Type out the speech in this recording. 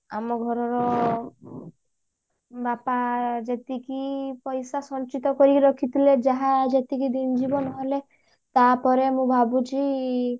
ଆମ ଘରର ବାପା ଯେତିକି ପଇସା ସଞ୍ଚିତ କରିକି ରଖିଥିଲେ ଯାହା ଯେତିକି ଜିବ ନହେଲେ ତାପରେ ମୁଁ ଭାବୁଛି